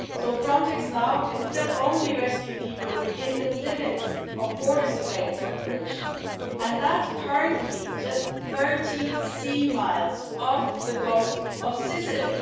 So Frontex can now still only rescue people within the limits of border surveillance operations and that currently means just 30 sea miles off the coast of Sicily.